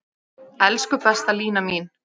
Elsku besta Lína mín.